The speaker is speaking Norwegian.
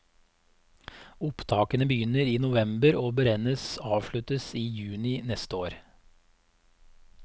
Opptakene begynner i november og beregnes avsluttet i juni neste år.